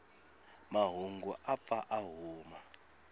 mahungu u pfa a huma